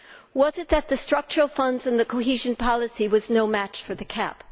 Was it that the structural funds and cohesion policy were no match for the CAP?